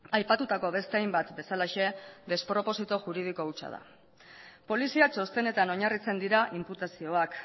aipatutako beste hainbat bezalaxe desproposito juridiko hutsa da polizia txostenetan oinarritzen dira inputazioak